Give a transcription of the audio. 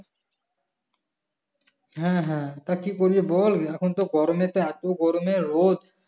হ্যাঁ হ্যাঁ তা কি করবে বল এখন তো গরমেতে এত গরমে রোদ